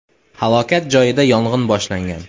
Halokat joyida yong‘in boshlangan.